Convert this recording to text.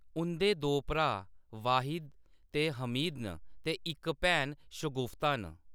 उंʼदे दो भ्राऽ वाहिद ते हमीद न ते इक भैन शगुफ्ता न।